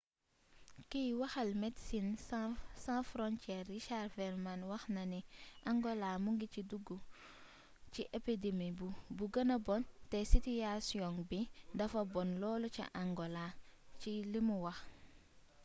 kiy waxal medecines sans frontiere richard veerman wax na ni angola mu ngi ci duggu ci épidemi bi gëna bon te sitiyasiyoŋ bi dafa bon lool ca angalo ci limu wax